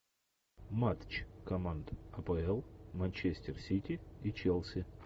матч команд апл манчестер сити и челси